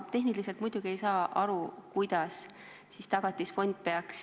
Ma tehniliselt muidugi ei saa aru, kuidas peaks Tagatisfond inimese ...